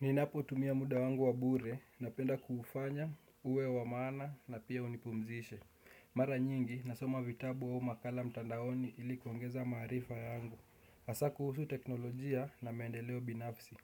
Ninapo tumia muda wangu wa bure, napenda kufanya, uwe wamana na pia unipumzishe. Mara nyingi, nasoma vitabu au makala mtandaoni ilikuongeza maharifa yangu. Asa kuhusu teknolojia na maendeleo binafsi.